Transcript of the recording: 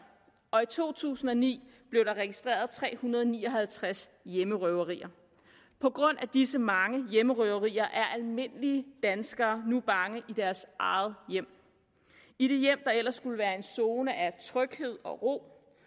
og i to tusind og ni blev der registreret tre hundrede og ni og halvtreds hjemmerøverier på grund af disse mange hjemmerøverier er almindelige danskere nu bange i deres eget hjem i det hjem der ellers skulle være en zone af tryghed og ro